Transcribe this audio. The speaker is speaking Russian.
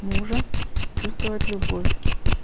мужа чувствовать любовь